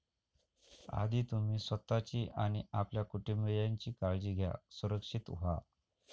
आधी तुम्ही स्वतःची आणि आपल्या कुटुंबीयांची काळजी घ्या, सुरक्षित व्हा.